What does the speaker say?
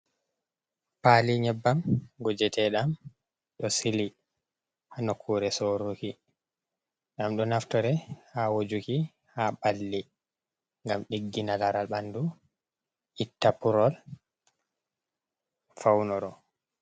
Pali nyebbam gujeteɗam, ɗo sili ha nokkure soruki. Ɗam ɗo naftore ha wojuki ha balli. Ngam ɗiggina laral banɗu, itta ppurol faunoro.